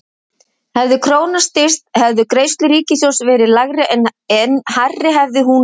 hefði krónan styrkst hefðu greiðslur ríkissjóðs verið lægri en hærri hefði hún veikst